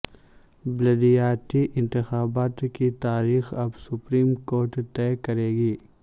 بلدیاتی انتخابات کی تاریخ اب سپریم کورٹ طے کرے گی